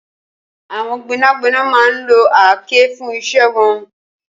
Awọn gbẹnágbẹná má n ló àáké fùn iṣẹ̀ wọn